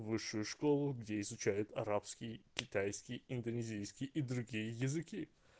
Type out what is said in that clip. высшую школу где изучают арабский китайский индонезийский и другие языки